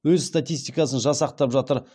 өз статистикасын жасақтап жатыр